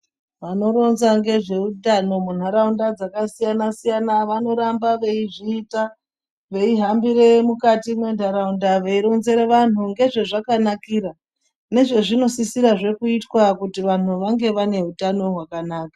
Vanoronza ngezveutano munharaunda dzakasiyana -siyana vanoramba veizviita veihambire mukati mwentaraunda veironzera vanhu ngezvezvakanakira nezvazvinosisirahe kuitwa kuti vanhu vange vane utano hwakanaka.